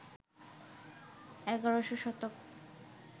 ১১শ শতক